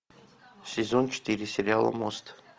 сезон четыре сериала мост